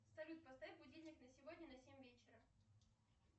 салют поставь будильник на сегодня на семь вечера